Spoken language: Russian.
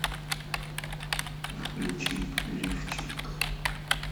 включи лифчик